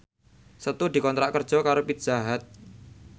Setu dikontrak kerja karo Pizza Hut